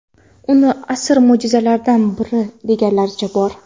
Uni asr mo‘jizalaridan biri deganlaricha bor.